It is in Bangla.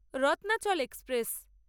রত্নাচল এক্সপ্রেস